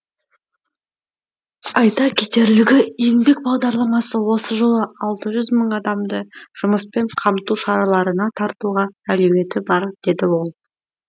айта кетерлігі еңбек бағдарламасы осы жылы алты жүз мың адамды жұмыспен қамту шараларына тартуға әлеуеті бар деді ол